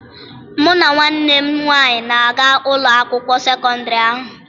Mụ na nwanne m nwaanyị na-aga ụlọ akwụkwọ sekọndịrị ahụ.